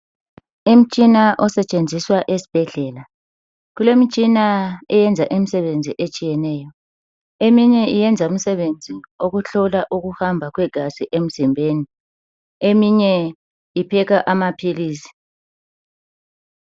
Imtshina osetshenziswa esibhedlela kulemitshina eyenza imisebenzi etshiyeneyo eminye iyenze imsebenzi okuhlola ukuhamba kwegazi emzimbeni eminye iphekha amaphilisi.